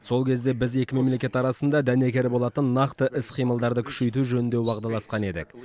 сол кезде біз екі мемлекет арасында дәнекер болатын нақты іс қимылдарды күшейту жөнінде уағдаласқан едік